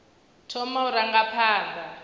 u thoma u ranga phanḓa